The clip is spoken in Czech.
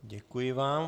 Děkuji vám.